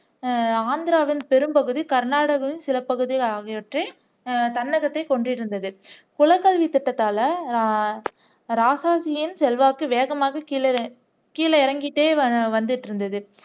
அஹ் ஆந்திராவின் பெரும் பகுதி கர்நாடகாவின் சில பகுதி ஆகியவற்றை தமிழகத்தை அஹ் கொண்டிருந்தது குலக்கல்வி திட்டத்தால அஹ் ராஜாஜியின் செல்வாக்கு வேகமாக கீழி கிழறங்கிட்டே வந்துட்டு இருந்தது